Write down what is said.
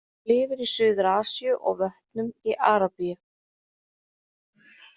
Sá lifir í Suður-Asíu og í vötnum í Arabíu.